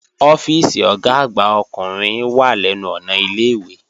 Ọ́fíìsì Ọ̀gá àgbà ọkùnrin wà lẹ́nu ọ̀nà ilé-ìwé